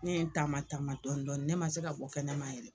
Ne ye n taama taama dɔɔni dɔɔni, ne ma se ka bɔ kɛnɛma yɛrɛ.